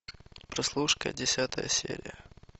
прослушка десятая серия